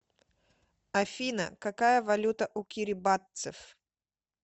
афина какая валюта у кирибатцев